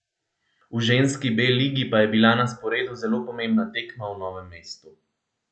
V ženski B ligi pa je bila na sporedu zelo pomembna tekma v Novem mestu.